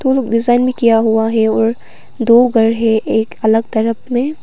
किया हुआ है और दो घर है एक अलग तरफ मे--